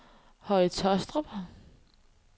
Høje Tåstrup